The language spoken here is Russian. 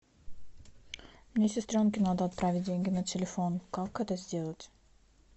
мне сестренке надо отправить деньги на телефон как это сделать